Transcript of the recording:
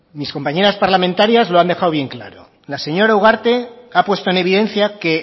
mis compañeras parlamentarias lo han dejado bien claro la señora ugarte ha puesto en evidencia que